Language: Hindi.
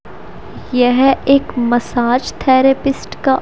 यह एक मसाज थेरेपिस्ट का--